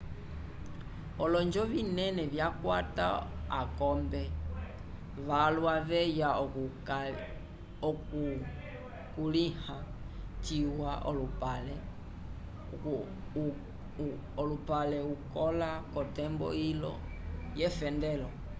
olonjo vinene vyakwata akombe valwa veya okukulĩha ciwa olupale ukola k'otembo ilo yefendelo